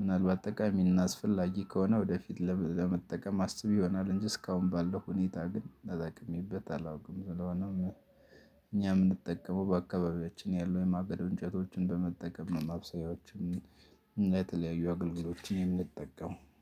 ምናልባት ጠቃሚ እናስፈላጊ ከሆነ ወደፊት ለመጠቀም አስብ ይሆናል እንጂ እስካሁን ባለው ሁኔታ ግን ተጠቅሜበት አላውቅም ስለሆነም። እኛም እንድጠቀመው በአካባቢያችን ያሉ የማገዶ እንጨቶችን በመጠቀም ነው ማብሰያዎችን እና የተለያዩ አገልግሎችን የምንጠቀመው